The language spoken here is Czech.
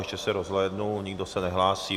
Ještě se rozhlédnu, nikdo se nehlásí.